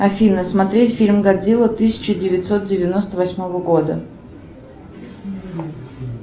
афина смотреть фильм годзилла тысяча девятьсот девяносто восьмого года